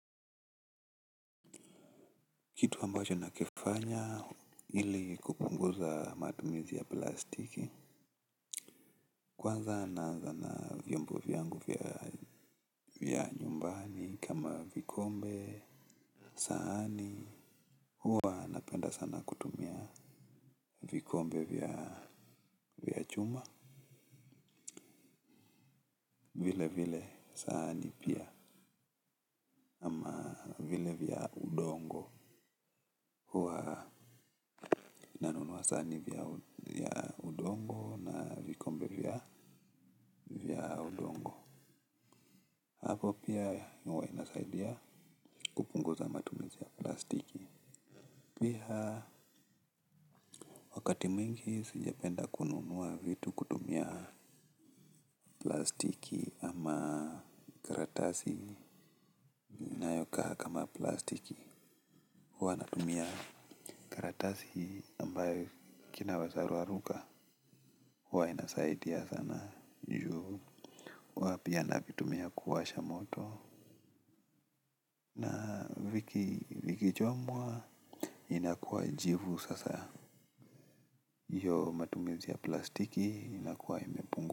Kitu ambacho nakifanya ili kupunguza matumizi ya plastiki. Kwanza naanza na vyombo vyangu vya nyumbani kama vikombe sahani huwa napenda sana kutumia vikombe vya chuma. Vile vile sahani pia ama vile vya udongo nanunua sahani ya udongo na vikombe vya udongo. Hapo pia hua inasaidia kupunguza matumizi ya plastiki. Pia wakati mwingi sijapenda kununua vitu kutumia plastiki ama karatasi kama plastiki hua natumia karatasi ambayo kinaweza raruka huwa inasaidia sana juu hua pia navitumia kuwasha moto, viki vikichomwa inakuwa jivu sasa hiyo matumizi ya plastiki inakuwa imepungua.